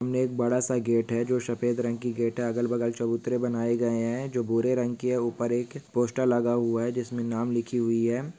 सामने एक बड़ा सा गेट है जो सफेद रंग की गेट है अगल-बगल चबूतरा बनाए गए हैं जो भूरे रंग के है ऊपर एक पोस्टर लगा हुआ है जिसमें नाम लिखी हुई है।